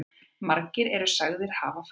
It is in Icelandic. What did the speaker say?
Margir eru sagðir hafa fallið.